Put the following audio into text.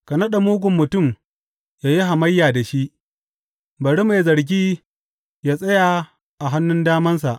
Ka naɗa mugun mutum yă yi hamayya da shi; bari mai zargi yă tsaya a hannun damansa.